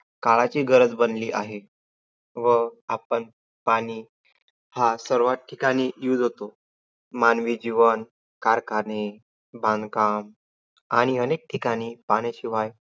काळाची गरज बनली आहे. व आपण पाणी हा सर्वाच ठिकाणी use होतो. मानवी जीवन, कारखाने, बांधकाम आणि अनेक ठिकाणी पाण्याशिवाय